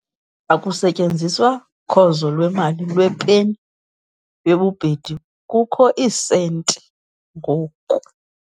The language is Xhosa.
Akusasetyenziswa khozo lwemali lwepeni yobhedu kuba kukho iisenti ngoku.